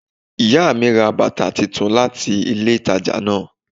Ìyá mi ra bàtà titun láti ilé ìtajà náà